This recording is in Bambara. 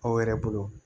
Aw yɛrɛ bolo